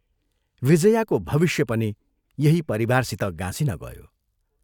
विजयाको भविष्य पनि यही परिवारसित गाँसिन गयो।